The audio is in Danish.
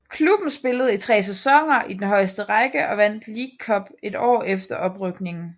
Klubben spillede i tre sæsoner i den højeste række og vandt League Cup et år efter oprykningen